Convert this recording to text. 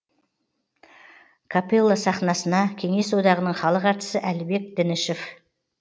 капелла сахнасына кеңес одағының халық әртісі әлібек дінішев